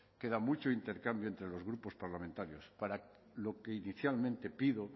queda mucho intercambio entre los grupos parlamentarios para lo que inicialmente pido